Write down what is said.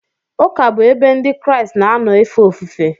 Ụka bụ ebe Ndị Kraịst na-anọ efe ofufe.